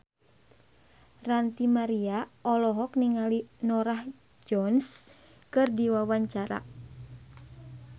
Ranty Maria olohok ningali Norah Jones keur diwawancara